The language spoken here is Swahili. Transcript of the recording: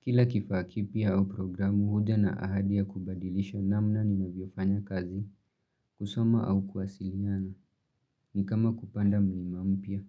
Kila kifaa kipya au programu huja na ahadi kubadilisha namna ni na vyofanya kazi, kusoma au kwasiliana, ni kama kupanda mlima mpya.